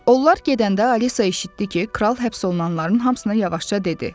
Onlar gedəndə Alisa eşitdi ki, Kral həbs olunanların hamısına yavaşca dedi.